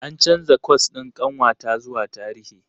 An canza kwas ɗin ƙanwata zuwa Tarihi.